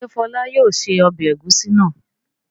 Ṣé Fọlá yóò se ọbẹ̀ ẹ̀gúsí náà?